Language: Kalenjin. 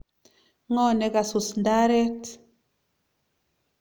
Ngo nekasus ndaret?